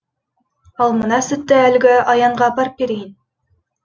ал мына сүтті әлгі аянға апарып берейін